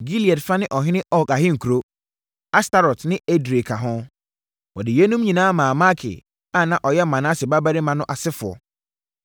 Gilead fa ne ɔhene Og ahenkuro, Astarot ne Edrei ka ho. Wɔde yeinom nyinaa maa Makir a na ɔyɛ Manase babarima no asefoɔ.